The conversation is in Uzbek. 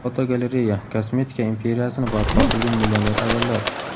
Fotogalereya: Kosmetika imperiyasini barpo qilgan millioner ayollar.